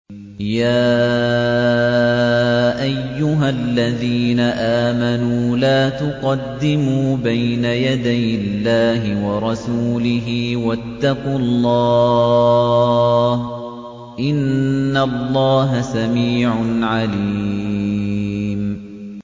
يَا أَيُّهَا الَّذِينَ آمَنُوا لَا تُقَدِّمُوا بَيْنَ يَدَيِ اللَّهِ وَرَسُولِهِ ۖ وَاتَّقُوا اللَّهَ ۚ إِنَّ اللَّهَ سَمِيعٌ عَلِيمٌ